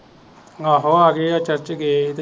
ਆਹ ਆਗਏ ਆ ਚਾਚੇ